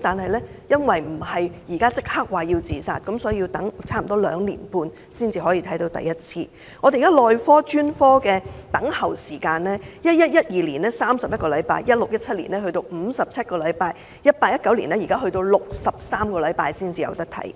但由於不是即時有自殺問題，所以要等兩年半才首次獲診症；內科和專科的輪候時間 ，2011-2012 年度要輪候31個星期 ，2016-2017 年度要輪候57個星期，而 2018-2019 年度更要輪候63個星期。